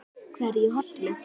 Hverja holu.